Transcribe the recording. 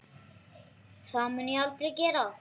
Það mun ég aldrei gera.